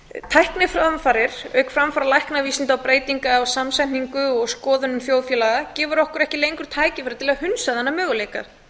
tækniframfarir auk auk framfara læknavísindum og breytinga eða samsetningu og skoðunum þjóðfélaga gefur okkur ekki lengur tækifæri til að hunsa annað möguleika